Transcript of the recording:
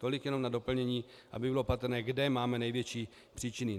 Tolik jenom na doplnění, aby bylo patrné, kde máme největší příčiny.